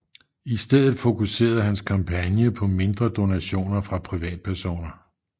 I stedet fokuserede hans kampagne på mindre donationer fra privatpersoner